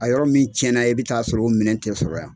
A yɔrɔ min tiɲɛna i bɛ taa sɔrɔ o minɛ tɛ sɔrɔ yan.